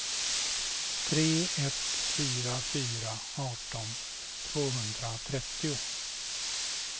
tre ett fyra fyra arton tvåhundratrettio